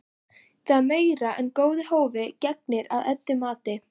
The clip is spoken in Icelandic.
Það er meira en góðu hófi gegnir að Eddu mati.